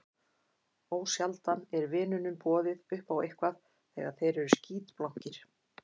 Ósjaldan er vinunum boðið upp á eitthvað þegar þeir eru skítblankir.